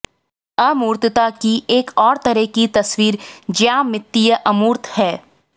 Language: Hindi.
अमूर्तता की एक और तरह की तस्वीर ज्यामितीय अमूर्त है